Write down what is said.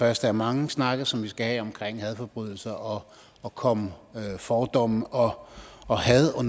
første af mange snakke som vi skal have omkring hadforbrydelser og at komme fordomme og og had og